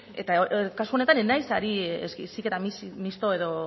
eta kasu honetan ez naiz ari heziketa misto edo